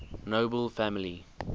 nobel family